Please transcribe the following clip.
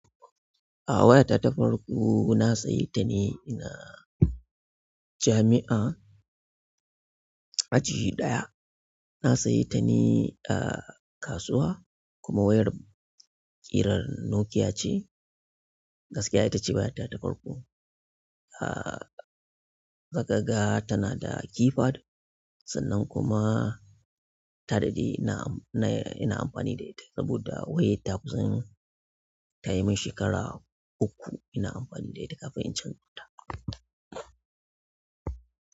A waya ta tafarko na sayi ta ne a jami'a, aji ɗaya. Na sayi ta ne a kasuwa kuma wayar ƙirar Nokia ce. Gaskiya ita ce waya ta tafarku. Ah, zaka ga tana da keypad sannan kuma ta daɗe ina am inay amfani da ita saboda da wayar ta kusa tayimin shekara uku ina amfani da ita kafin in canza ta.